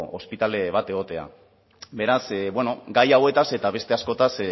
ospitale bat egotea beraz bueno gai hauetaz eta beste askotaz